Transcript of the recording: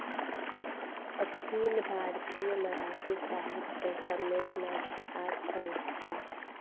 अखिल भारतीय मराठी साहित्य संमेलनाची आज सांगता